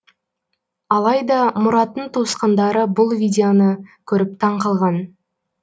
алайда мұраттың туысқандары бұл видеоны көріп таңқалған